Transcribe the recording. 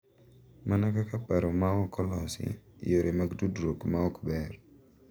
Mana kaka paro ma ok olosi, yore mag tudruok ma ok ber,